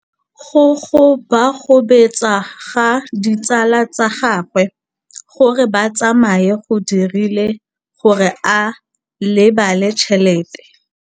Go gobagobetsa ga ditsala tsa gagwe, gore ba tsamaye go dirile gore a lebale tšhelete.